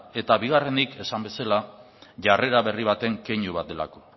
eta bigarrenik esan bezala jarrera berri baten keinu bat delako